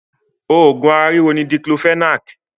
Òògùn ara ríro ni Diclofenac